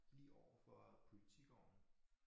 Lige overfor Politigården